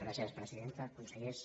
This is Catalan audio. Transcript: gràcies presidenta consellers